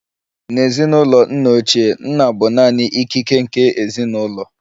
N'ezinụlọ nna ochie, nna bụ naanị ikike nke ezinụlọ